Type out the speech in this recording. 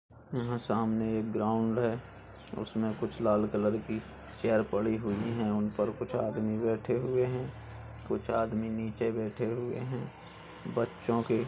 यहां सामने एक ग्राउंड है। उसमें कुछ लाल कलर कि चेयर पड़ी हुई हैं | उन पर कुछ आदमी बैठे हुए हैं | कुछ आदमी नीचे बैठे हुए हैं | बच्चों के --